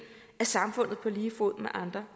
af samfundet på lige fod med andre